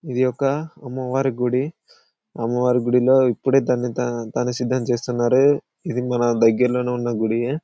ఇది ఒక అమ్మవారి గుడి అమ్మ వారి గుడిలో ఇప్పుడే దాని సిద్ధం చేష్టలు ఇది మన దగ్గరలో ఉన్న గుడి నే.